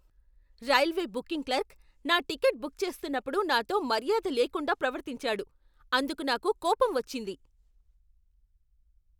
Railway booking clerk నా ticket book చేస్తున్నప్పుడు నాతో మర్యాద లేకుండా ప్రవర్తించాడు. అందుకు నాకు కోపం వచ్చింది.